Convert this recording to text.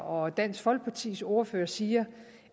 og dansk folkepartis ordførere siger